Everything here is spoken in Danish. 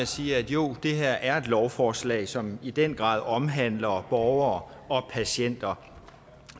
sige at jo det her er et lovforslag som i den grad omhandler borgere og patienter